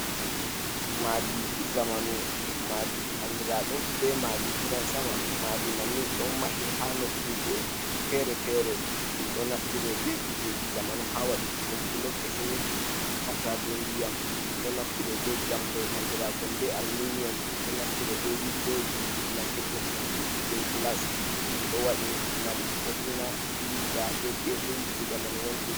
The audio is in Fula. Madi zamanu. Madi andira ɗum be madi gidan sama, madi manni ɗon mahe ha nokkuje fere-fere, ɗum ɗo naftire be kujeji zamanu ha waɗuki ɗum, bulok, siminti, hautade diyam, ɗum do naftire be jamkoi andirakon be alminiyum, ɗum ɗo naftire be windoji naftir ɗum hendu je gilas, ɗum ɗo waɗe ngam bo’ina dillida be dedei ku zamanu wontori.